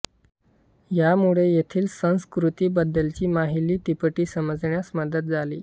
यामुळे येथील संस्कृती बद्दलची माहिली तिपटी समजण्यास मदत झाली